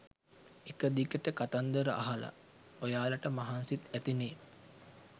එක දිගට කතන්දර අහලා ඔයාලට මහන්සිත් ඇතිනෙ